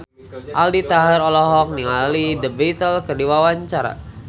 Aldi Taher olohok ningali The Beatles keur diwawancara